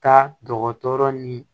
Taa dɔgɔtɔrɔ ni